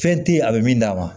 Fɛn te ye a be min d'a ma